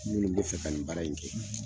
Minnu bi fɛ ka nin baara in kɛ